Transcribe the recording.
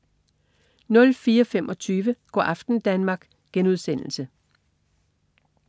04.25 Go' aften Danmark*